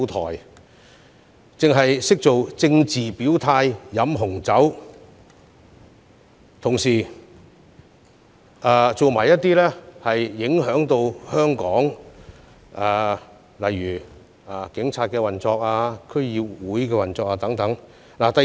他們只懂作政治表態、飲紅酒，同時做出影響香港警方、區議會運作的事情。